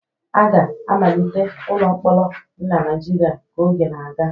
A ga-emelite ụlọ mkpọrọ dị na Naijiria ka oge na-aga.